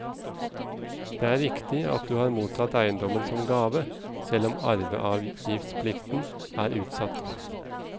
Det er riktig at du har mottatt eiendommen som gave, selv om arveavgiftsplikten er utsatt.